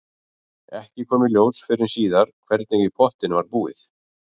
Ekki kom í ljós fyrr en síðar hvernig í pottinn var búið.